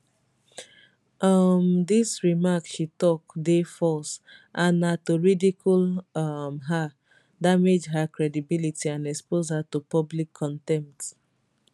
um dis remarks she tok dey false and na to ridicule um her damage her credibility and expose her to public contempt